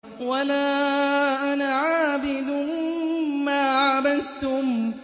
وَلَا أَنَا عَابِدٌ مَّا عَبَدتُّمْ